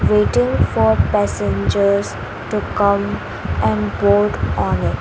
waiting for passengers to come and board on it .